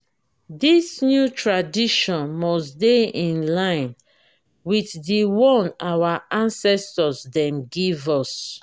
dis new tradition must dey in line wit di one our ancestor dem give us.